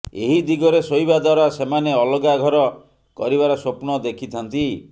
ଏହି ଦିଗରେ ଶୋଇବା ଦ୍ବାରା ସେମାନେ ଅଲଗା ଘର କରିବାର ସ୍ବପ୍ନ ଦେଖିଥାନ୍ତି